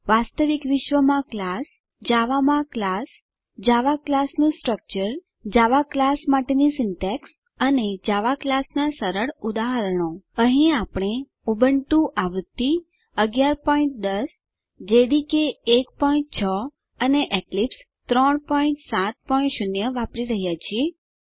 વાસ્તવિક વિશ્વમાં ક્લાસ જાવામાં ક્લાસ જાવા ક્લાસ નું સ્ટ્રક્ચર જાવા ક્લાસ માટેની સીન્ટેક્ષ અને જાવા ક્લાસ નાં સરળ ઉદાહરણો અહીં આપણે ઉબુન્ટુ આવૃત્તિ ૧૧૧૦ જેડીકે ૧૬ અને એક્લીપ્સ ૩૭૦ વાપરી રહ્યા છીએ